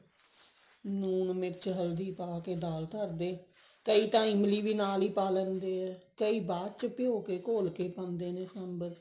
ਨੂਣ ਮਿਰਚ ਹਲਦੀ ਪਾ ਕੇ ਦਾਲ ਧਰਦੇ ਕਈ ਤਾਂ ਇਮਲੀ ਵੀ ਨਾਲ ਹੀ ਪਾ ਲੈਂਦੇ ਨੇ ਕਈ ਬ੍ਬਾਦ ਚ ਘੋਲ ਕੇ ਪਾਉਂਦੇ ਨੇ ਸਾਂਬਰ ਚ